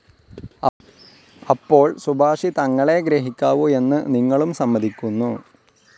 അപ്പോൾ സുഭാഷിതങ്ങളേ ഗ്രഹിക്കാവു എന്നു നിങ്ങളും സമ്മതിക്കുന്നു.